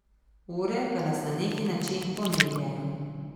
Ure pa nas na neki način pomirjajo.